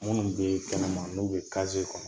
Minnu bɛ kɛnɛma n'u bɛ kaze kɔnɔ